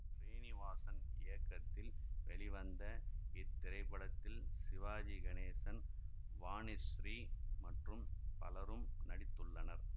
ஸ்ரீநிவாசன் இயக்கத்தில் வெளிவந்த இத்திரைப்படத்தில் சிவாஜி கணேசன் வாணிஸ்ரீ மற்றும் பலரும் நடித்துள்ளனர்